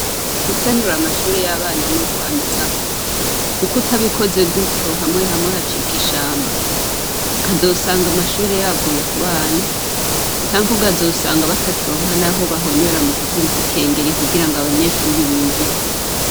Gusanura amashure y'abana n'ukwamizako, kuko utabikoze gutyo hamwe hamwe hacika ishamba, ukazosanga amashure yaguye kubana canke ukazosanga batakironka naho bahonyora mu kuvuza ikengeri kugirango abanyeshuri binjire.